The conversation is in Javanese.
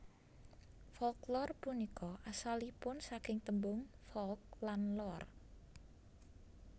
Folklor punika asalipun saking tembung folk lan lore